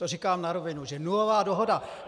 To říkám na rovinu, že nulová dohoda!